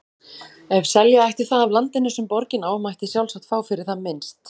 Ef selja ætti það af landinu, sem borgin á, mætti sjálfsagt fá fyrir það minnst